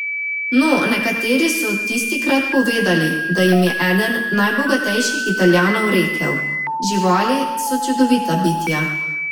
No, nekateri so tistikrat povedali, da jim je eden najbogatejših Italijanov rekel: "Živali so čudovita bitja.